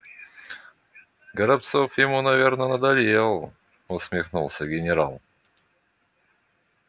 горобцов ему наверно надоел усмехнулся генерал